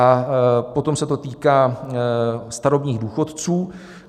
A potom se to týká starobních důchodců.